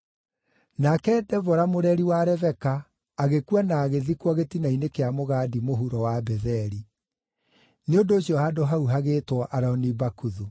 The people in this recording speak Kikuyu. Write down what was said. Nake Debora mũreri wa Rebeka agĩkua na agĩthikwo gĩtina-inĩ kĩa mũgandi mũhuro wa Betheli. Nĩ ũndũ ũcio handũ hau hagĩĩtwo Aloni-Bakuthu.